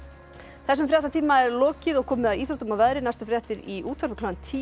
þessum fréttatíma er lokið og komið að íþróttum og veðri næstu fréttir í útvarpi klukkan tíu